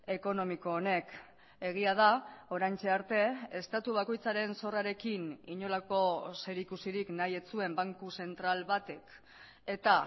ekonomiko honek egia da oraintxe arte estatu bakoitzaren zorrarekin inolako zerikusirik nahi ez zuen banku zentral batek eta